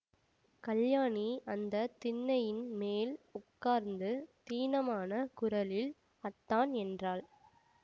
கல்யாணி அந்த திண்ணையின் மேல் உட்கார்ந்து தீனமான குரலில் அத்தான் என்றாள்